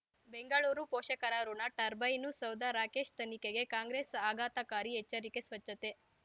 ಬೆಂಗಳೂರು ಪೋಷಕರಋಣ ಟರ್ಬೈನು ಸೌಧ ರಾಕೇಶ್ ತನಿಖೆಗೆ ಕಾಂಗ್ರೆಸ್ ಆಘಾತಕಾರಿ ಎಚ್ಚರಿಕೆ ಸ್ವಚ್ಛತೆ